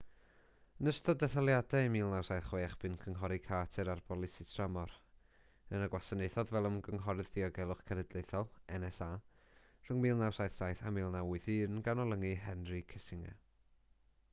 yn ystod detholiadau 1976 bu'n cynghori carter ar bolisi tramor yna gwasanaethodd fel ymgynghorydd diogelwch cenedlaethol nsa rhwng 1977 a 1981 gan olynu henry kissinger